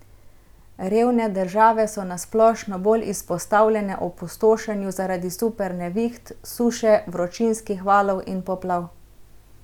Revne države so na splošno bolj izpostavljene opustošenju zaradi super neviht, suše, vročinskih valov in poplav.